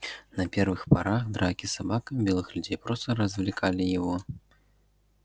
на первых порах драки с собаками белых людей просто развлекали его